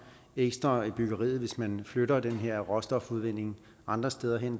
ekstra til byggeriet hvis man flytter den her råstofudvinding andre steder hen